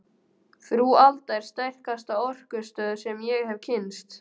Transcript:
Frú Alda er sterkasta orkustöð sem ég hef kynnst.